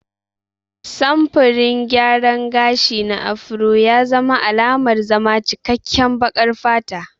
Samfurin gyaran gashi na Afro ya zama alamar zama cikkaken baƙar fata.